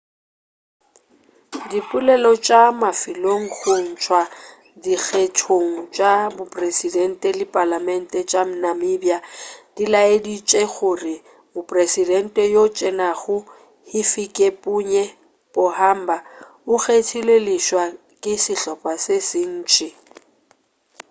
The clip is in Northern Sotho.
dipoelo tša mafelelo go tšwa dikgethong tša bopresidente le palamente tša namibia di laeditše gore mopresidente yoo a tsenego hifikepunye pohamba o kgethilwe leswa ke sehlopa se sentši